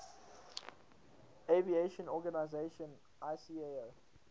aviation organization icao